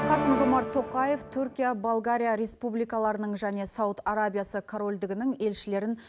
қасым жомарт тоқаев түркия болгария республикаларының және сауд арабиясы корольдігінің елшілерін